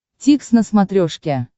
дтикс на смотрешке